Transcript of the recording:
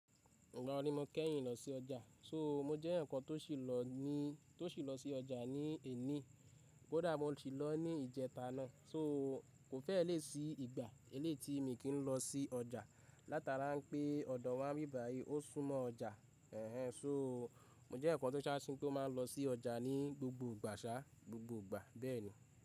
Oro ní mo kẹ́yìn lọ sí ọjà, só mo jẹ́ eyan kan tó sì lọ ní tó sì lọ sí ọjà ní èní, bó dá bá sì lọ ní ìjẹta náà. Só kò fẹ́ lè sí ìgbà ẹlẹ́tí mi kín lọ sí ọjà látara pé ọ̀dọ̀ wáa ń bí bayi ó súnmọ́ ọjà. Ẹ̀hẹn só mo jẹ́ eyankan tó sááṣí kó máa lọ sí ọjà ní gbogbo ìgbàṣá, gbogbo ìgbà bẹ́ẹ̀ni.